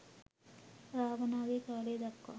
රාවණාගේ කාලය දක්වා